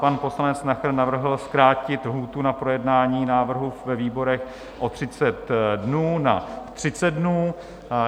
Pan poslanec Nacher navrhl zkrátit lhůtu na projednání návrhu ve výborech o 30 dnů na 30 dnů.